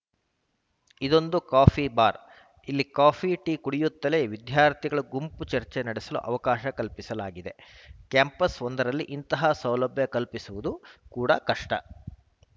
ಇದೊಂದು coffee bar ಇಲ್ಲಿ coffee tea ಕುಡಿಯುತ್ತಲೇ ವಿದ್ಯಾರ್ಥಿಗಳು ಗುಂಪು ಚರ್ಚೆ ನಡೆಸಲು ಅವಕಾಶ ಕಲ್ಪಿಸಲಾಗಿದೆ ಕ್ಯಾಂಪಸ್‌ ಒಂದರಲ್ಲಿ ಇಂತಹ ಸೌಲಭ್ಯ ಕಲ್ಪಿಸುವುದು ಕೂಡ ಕಷ್ಟ